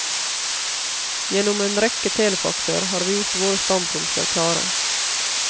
Gjennom en rekke telefaxer har vi gjort våre standpunkter klare.